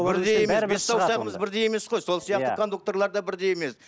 бірдей емес бес саусағымыз бірдей емес қой сол сияқты кондукторлар да бірдей емес